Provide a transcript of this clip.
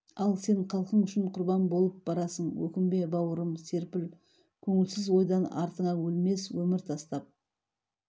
ал сен халқың үшін құрбан болып барасың өкінбе бауырым серпіл көңілсіз ойдан артыңа өлмес өмір тастап